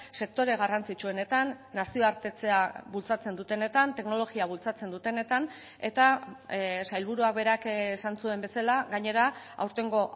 sektore garrantzitsuenetan nazioartetzea bultzatzen dutenetan teknologia bultzatzen dutenetan eta sailburuak berak esan zuen bezala gainera aurtengo